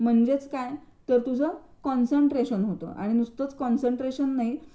म्हणजेच काय तर तुझं कॉन्सन्ट्रेशन होतं आणि नुसतच कॉन्सन्ट्रेशन नाही